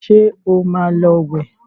ṣe ọ má ló wẹ